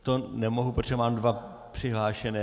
To nemohu, protože mám dva přihlášené.